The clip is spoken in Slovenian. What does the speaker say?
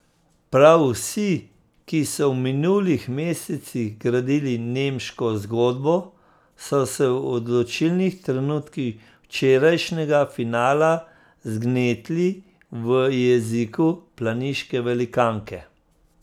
Prav vsi, ki so v minulih mesecih gradili nemško zgodbo, so se v odločilnih trenutkih včerajšnjega finala zgnetli v jeziku planiške velikanke.